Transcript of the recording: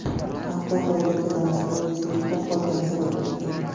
Avtohalokatga Damas haydovchisining uxlab qolgani sabab bo‘lgan.